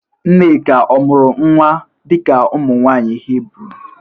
Nneka ọ mụrụ nwa dị ka ụmụ nwaanyị Hibru?